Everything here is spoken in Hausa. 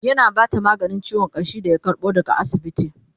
yana Bata maganin ciwon ƙashi da ya karbo daga asibiti